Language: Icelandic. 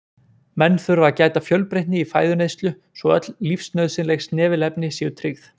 menn þurfa að gæta fjölbreytni í fæðuneyslu svo öll lífsnauðsynleg snefilefni séu tryggð